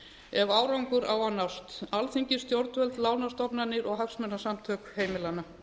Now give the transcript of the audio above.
ef árangur á að nást alþingi stjórnvöld lánastofnanir og hagsmunasamtök heimilanna